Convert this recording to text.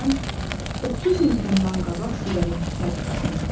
Məsələn, mən 30 il bundan qabaq siqareti tərgitdim.